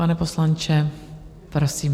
Pane poslanče, prosím.